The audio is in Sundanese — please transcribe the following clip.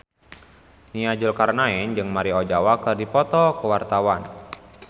Nia Zulkarnaen jeung Maria Ozawa keur dipoto ku wartawan